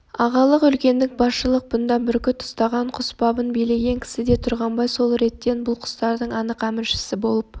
ағалық үлкендік басшылық бұнда бүркіт ұстаған құс бабын билеген кісіде тұрғанбай сол реттен бұл қостардың анық әміршісі болып